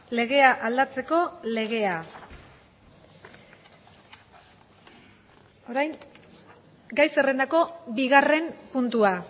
legea aldatzeko legea orain gai zerrendako bigarren puntua